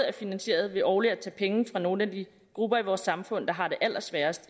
er finansieret ved årligt at tage penge fra nogle af de grupper i vores samfund der har det allersværest